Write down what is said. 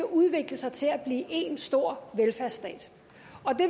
udvikle sig til at blive én stor velfærdsstat